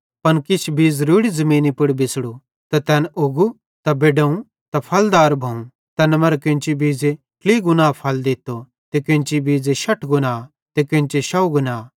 पन किछ बीज़ रोड़ी ज़मीनी पुड़ बिछ़ड़ू त तैन उग्गू त बेडोवं त फलदार भोवं तैन मरां केन्ची बीज़े ट्लही गुणा फल दित्तो त केन्ची बीज़े शठ गुणा त केन्चे शौव गुणा